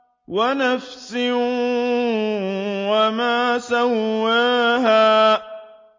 وَنَفْسٍ وَمَا سَوَّاهَا